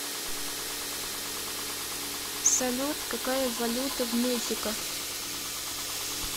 салют какая валюта в мехико